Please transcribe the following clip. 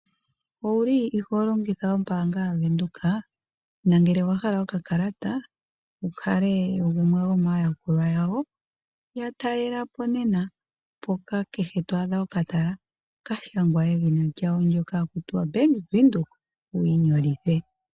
Uwile iho longitha ombaanga yaBank Windhoek nangele owahala okakalata wu kale wogumwe gomayakulwa yawo yatalela po nena mpoka kehe to adha okatala kashangwa edhina lyawo ndoka haku tiwa Bank Windhoek wiinyolithe.